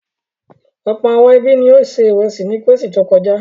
Ọ̀pọ̀ àwọn ẹbí ni ó se ìrẹsì ní Kérésìmesì tó kọjá.